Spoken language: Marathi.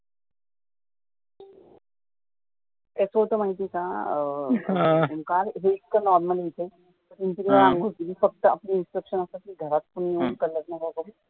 एको चं माहित आहे का की काल इतकं normal फक्त आपली instructions असतात की घरात कोणी color नका करू